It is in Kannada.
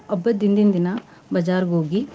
ಹಬ್ಬದ ಹಿಂದಿನ್ ದಿನಾ बाज़ार ಹೋಗಿ.